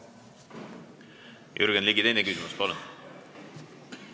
Jürgen Ligi, teine küsimus, palun!